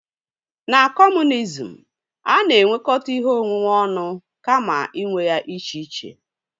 Na kọmunizm, a na-enwekọta ihe onwunwe ọnụ kama inwe ya iche iche